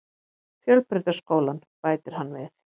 Fjölbrautaskólann, bætir hann við.